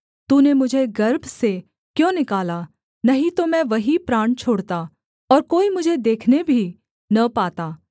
तूने मुझे गर्भ से क्यों निकाला नहीं तो मैं वहीं प्राण छोड़ता और कोई मुझे देखने भी न पाता